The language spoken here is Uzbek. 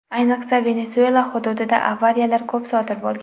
Ayniqsa, Venesuela hududida avariyalar ko‘p sodir bo‘lgan.